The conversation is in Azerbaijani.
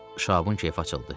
Şahabın keyfi açıldı.